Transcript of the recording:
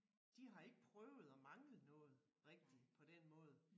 De har ikke prøvet at mangle noget rigtigt på den måde